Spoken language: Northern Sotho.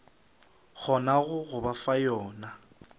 kgonago go ba fa yona